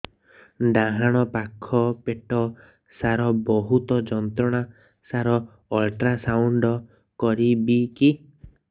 ଡାହାଣ ପାଖ ପେଟ ସାର ବହୁତ ଯନ୍ତ୍ରଣା ସାର ଅଲଟ୍ରାସାଉଣ୍ଡ କରିବି କି